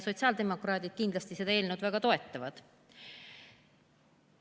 Sotsiaaldemokraadid seda eelnõu kindlasti väga toetavad.